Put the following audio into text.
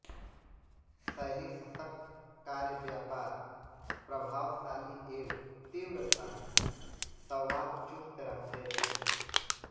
शैली सशक्त कार्यव्यापार प्रभावशाली एवं तीव्र था संवाद चुस्त रहते थे